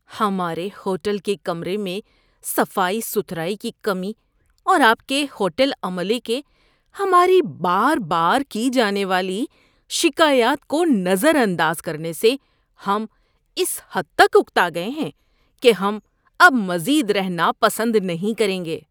ہمارے ہوٹل کے کمرے میں صفائی ستھرائی کی کمی اور آپ کے ہوٹل عملے کے ہماری بار بار کی جانے والی شکایات کو نظر انداز کرنے سے ہم اس حد تک اکتا گئے ہیں کہ ہم اب مزید رہنا پسند نہیں کریں گے۔